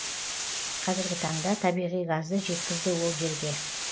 қазіргі таңда табиғи газды жеткізді ол жерге